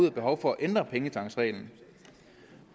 er behov for at ændre pengetanksreglen